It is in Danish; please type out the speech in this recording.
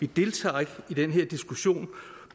deltager ikke i den her diskussion